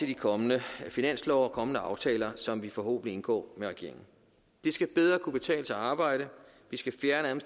de kommende finanslove og kommende aftaler som vi forhåbentlig indgår med regeringen det skal bedre kunne betale sig at arbejde vi skal fjerne